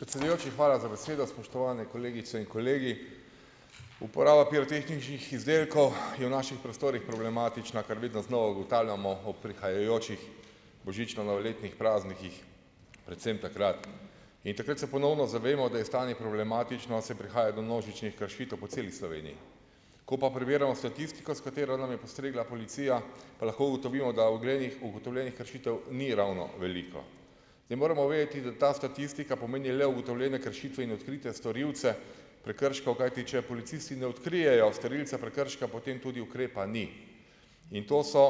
Predsedujoči, hvala za besedo , spoštovane kolegice in kolegi. Uporaba pirotehničnih izdelkov je v naših prostorih problematična, kar vedno znova ugotavljamo ob prihajajočih božično-novoletnih praznikih, predvsem takrat. In takrat se ponovno zavemo, da je stanje problematično, saj prihaja do množičnih kršitev po celi Sloveniji. Ko pa prebiramo statistiko, s katero nam je postregla policija, pa lahko ugotovimo, da ugotovljenih kršitev ni ravno veliko. In moramo vedeti, da ta statistika pomeni le ugotovljene kršitve in odkritja storilce prekrškov, kajti, če policisti ne odkrijejo storilca prekrška, potem tudi ukrepa ni. In to so,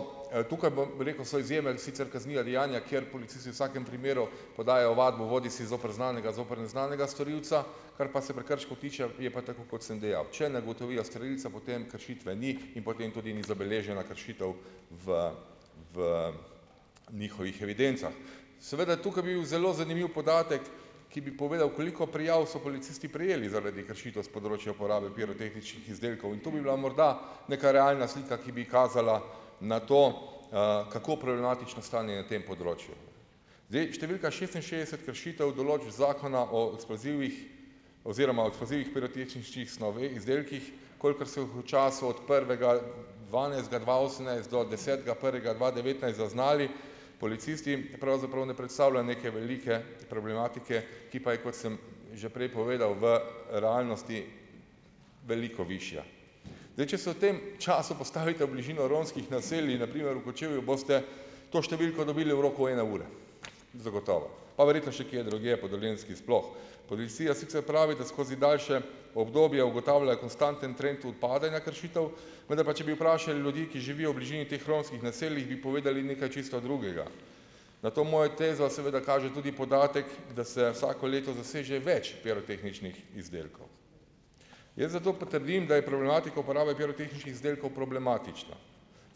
tukaj bom rekel, so izjeme, sicer kazniva dejanja, ker policisti vsakem primeru podajajo ovadbo bodisi zoper znanega bodisi zoper neznanega storilca, kar pa se prekrškov tiče, je pa tako, kot sem dejal. Če ne ugotovijo storilca, potem kršitve ni in potem tudi ni zabeležena kršitev v, v njihovih evidencah. Seveda, tukaj bil zelo zanimiv podatek, ki bi povedal, koliko prijav so policisti prejeli zaradi kršitev s področja uporabe pirotehničnih izdelkov in to bi bila mora neka realna slika, ki bi kazala na to, kako problematično stanje je na tem področju. Zdaj, številka šestinšestdeset kršitev določb Zakona o eksplozivih oziroma eksplozivnih pirotehničnih izdelkih, kolikor se v času od prvega dvanajstega dva osemnajst do desetega prvega dva devetnajst zaznali policisti, pravzaprav ne predstavlja neke velike problematike, ki pa je, kot sem že prej povedal, v realnosti veliko višja. Zdaj, če so v tem času postavite v bližino romskih naselij, na primer v Kočevju, boste to številko dobili v roku ene ure. Zagotovo. Pa verjetno še kje drugje po Dolenjski sploh. Policija sicer pravi, da skozi daljše obdobje ugotavlja konstanten trend upadanja rešitev, vendar pa če bi vprašali ljudi, ki živijo v bližini teh romskih naselij, bi povedali nekaj čisto drugega. Na to mojo tezo seveda kaže tudi podatek, da se vsako leto zaseže več pirotehničnih izdelkov. Jaz zato potrdim, da je problematiko uporabe pirotehničnih izdelkov problematično.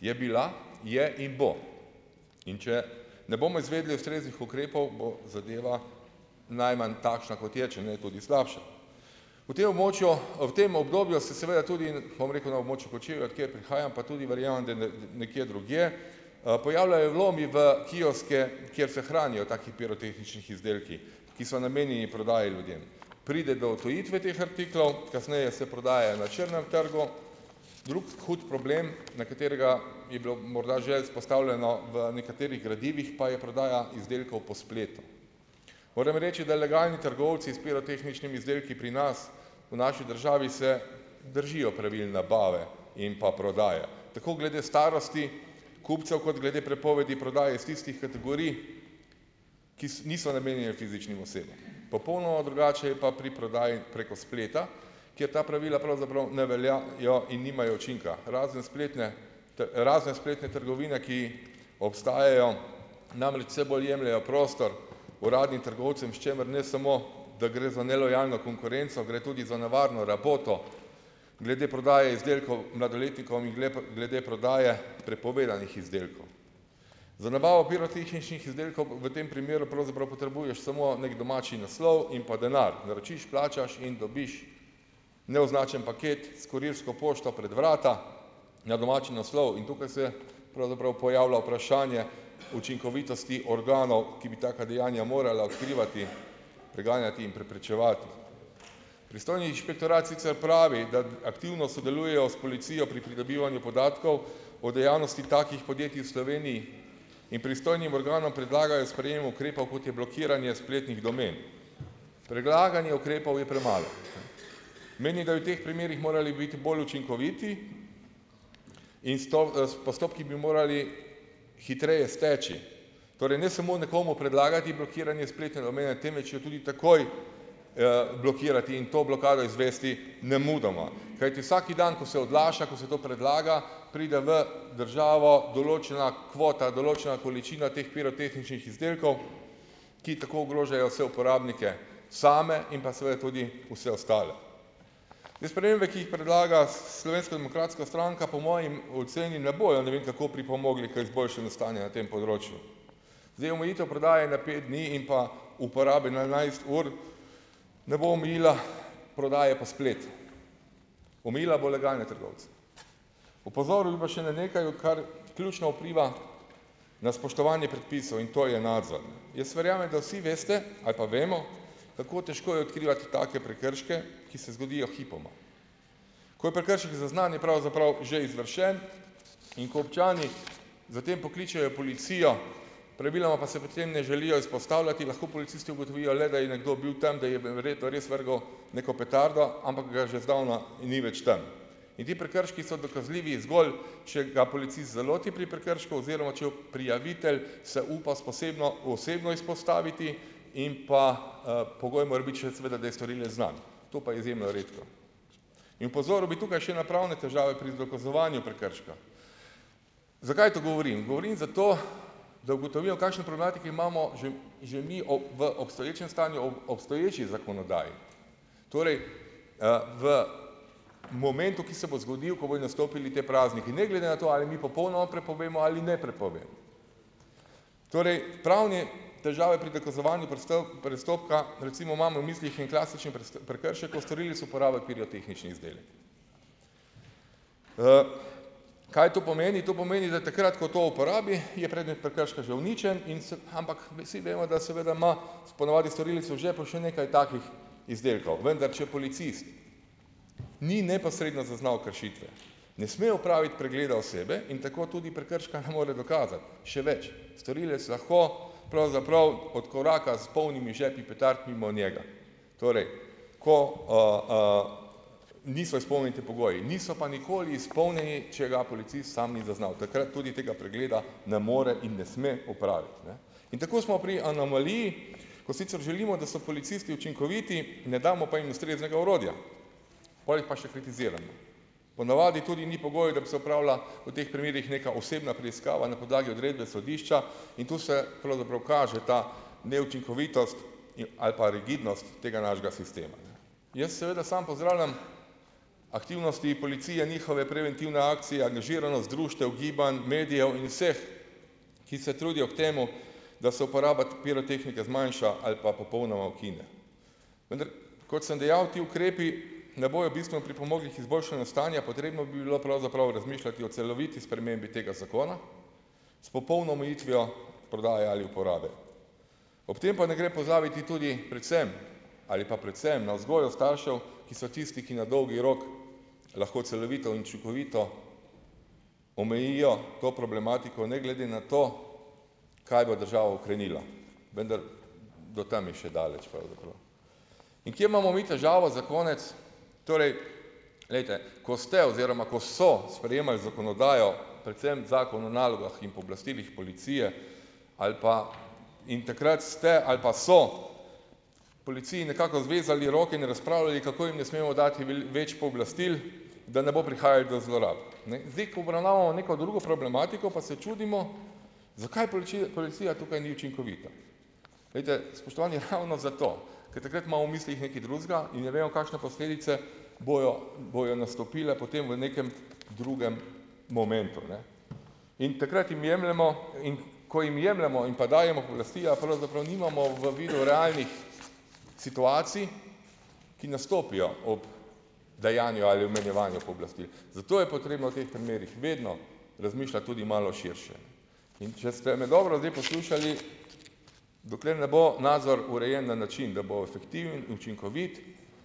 Je bila, je in bo. In, če ne bomo izvedli ustreznih ukrepov, bo zadeva najmanj takšna, kot je, če ne tudi slabša. Po te območju, ob tem obdobju se seveda tudi, bom rekel, na območju Kočevja, od kjer prihajam, pa tudi verjamem, da nekje drugje, pojavljajo vlomi v kioske, kjer se hranijo taki pirotehničnih izdelki, ki so namenjeni prodaji ljudem. Pride do odtujitve teh artiklov, kasneje se prodaja na črnem trgu , drugi hud problem, na katerega bi bilo morda že izpostavljeno v nekaterih gradivih, pa je prodaja izdelkov po spletu. Moram reči, da legalni trgovci s pirotehničnimi izdelki pri nas, v naši državi, se držijo pravil nabave in pa prodaje, tako glede starosti kupcev kot glede prepovedi prodaje iz tistih kategorij, ki niso namenjene fizičnim osebam. Popolnoma drugače je pa pri prodaji preko spleta, ki je ta pravila pravzaprav ne veljajo in nimajo učinka, razen spletne, razen spletne trgovine, ki obstajajo, namreč vse bolj jemljejo prostor uradnim trgovcem, s čimer ne samo, da gre za nelojalno konkurenco, gre tudi za nevarno raboto glede prodaje izdelkov mladoletnikom in glede prodaje prepovedanih izdelkov. Za nabavo pirotehničnih izdelkov v tem primeru pravzaprav potrebuješ samo neki domači naslov in pa denar. Naročiš, plačaš in dobiš neoznačen paket s kurirsko pošto pred vrata, na domači naslov in tukaj se pravzaprav pojavlja vprašanje učinkovitosti organov, ki bi taka dejanja morala odkrivati , preganjati in preprečevati. Pristojni inšpektorat sicer pravi, da aktivno sodelujejo s policijo pri pridobivanju podatkov o dejavnosti takih podjetij v Sloveniji in pristojnim organom predlagajo sprejem ukrepov, kot je blokiranje spletnih domen . Predlaganje ukrepov je premalo . Menim, da je v teh primerih morali biti bolj učinkoviti in postopki bi morali hitreje steči. Torej, ne samo nekomu predlagati blokiranje spletne domene, temveč jo tudi takoj blokirati in to blokado izvesti nemudoma, kajti vsak dan, ko se odlaša, ko se to predlaga, pride v državo določena kvota, določena količina teh pirotehničnih izdelkov, ki tako ogrožajo vse uporabnike same in pa seveda tudi vse ostale. Te spremembe, ki jih predlaga Slovenska demokratska stranka, po moji oceni, ne bojo ne vem kako pripomogli k izboljšanju stanja na tem področju. Zdaj, omejitev prodaje na pet dni in pa uporabe na enajst ur ne bo omejila prodaje po splet. Omejila bo legalne trgovce. Opozoril bi pa še na nekaj, kar ključno vpliva na spoštovanje predpisov in to je nadzor. Jaz verjamem, da vse veste, ali pa vemo, kako težko je odkrivati take prekrške, ki se zgodijo hipoma. Ko je prekršek zaznan, je pravzaprav že izvršen, in ko občani za tem pokličejo policijo, praviloma pa se pri tem ne želijo izpostavljati, lahko policisti ugotovijo le, da je nekdo bil tam, da je verjetno res vrgel neko petardo, ampak ga že zdavno ni več tam. In ti prekrški so dokazljivi, zgolj če ga policist zaloti pri prekršku oziroma, če prijavitelj se upa s osebno izpostaviti, in pa pogoj mora biti še seveda, da mora biti storilec znan. To pa je izjemno redko. In opozoril bi tukaj še na pravne težave pri dokazovanju prekrška. Zakaj to govorim? Govorim zato, da ugotovijo, v kakšni problematiki imamo že, že mi v obstoječem stanju ob obstoječi zakonodaji. Torej, v momentu, ki se bo zgodil, ko bodo nastopili ti prazniki, ne glede na to, ali mi popolnoma prepovemo ali ne prepovem. Torej, pravne težave pri dokazovanju prestopka, recimo imam v mislih en klasičen prekršek, ko storilec uporabiti pirotehnični izdelek. kaj to pomeni? To pomeni, da takrat, ko to uporabi, je predmet prekrška že uničenje in se, ampak vsi vemo, da seveda ima ponavadi storilec v žepu še nekaj takih izdelkov. Vendar če policist ni neposredno zaznal kršitve, ne sme opraviti pregleda osebe in tako tudi prekrška ne more dokazati. Še več. Storilec lahko pravzaprav odkoraka s polnimi žepu petard mimo njega. Torej, ko niso izpolnjeni ti pogoji. Niso pa nikoli izpolnjeni, če ga policist samo ni zaznal. Takrat tudi tega pregleda ne more in ne sme opraviti, ne. In tako smo pri anomaliji, ko sicer želimo, da so policisti učinkoviti, ne damo pa jih ustreznega orodja. Pol jih pa še kritiziramo. Ponavadi tudi ni pogojev, da bi se opravila, v teh primerih neka osebna preiskava na podlagi odredbe sodišča in tu se pravzaprav kaže ta neučinkovitost in, ali pa rigidnost tega našega sistema. Jaz seveda samo pozdravljam aktivnosti policije, njihove preventivne akcije, angažiranost društev, gibanj, medijev in vseh, ki se trudijo k temu, da se uporaba pirotehnike zmanjša ali pa popolnoma ukine. Vendar, kot sem dejal, ti ukrepi ne bojo bistveno pripomogli k izboljšanju stanja. Potrebno bi bilo pravzaprav razmišljati o celoviti spremembi tega zakona, s popolno omejitvijo prodaje ali uporabe. Ob tem pa ne gre pozabiti tudi, predvsem, ali pa predvsem na vzgojo staršev, ki so tisti, ki na dolgi rok lahko celovito in učinkovito omejijo to problematiko, ne glede na to, kaj bo država ukrenila. Vendar, do tam je še daleč pravzaprav. In, kje imamo mi težavo, za konec. Torej, glejte, ko ste oziroma ko so sprejemali zakonodajo, predvsem Zakon o nalogah in pooblastilih policije ali pa, in takrat ste ali pa so policiji nekako zvezali roke in razpravljali, kako jim ne smemo dati več pooblastil, da ne bo prihajalo do zlorab. Ne. Zdaj, ko obravnavamo neko drugo problematiko, pa se čudimo zakaj policija tukaj ni učinkovita. Glejte, spoštovani, ravno zato, ker takrat ima v mislih nekaj drugega, in ne vemo, kakšne posledice bojo, bodo nastopile potem v nekem drugem momentu, ne. In takrat jim jemljemo in ko jim jemljemo in pa dajemo pooblastila, pravzaprav nimamo vabilu realnih situacij, ki nastopijo ob dejanju ali omejevanju pooblastil. Zato je potrebno v teh primerih vedno razmišljati tudi malo širše. In če ste me dobro zdaj poslušali , dokler ne bo nadzor urejen na način, da bo fiktiven, učinkovit,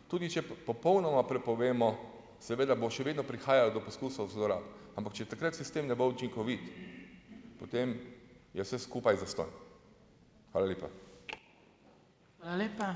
tudi če popolnoma prepovemo, seveda bo še vedno prihajalo do poskusov zlorab. Ampak če takrat sistem ne bo učinkovit, potem je vse skupaj zastonj. Hvala lepa.